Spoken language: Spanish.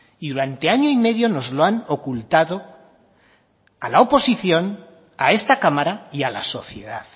y durante año y medio nos lo han ocultado a la oposición a esta cámara y a la sociedad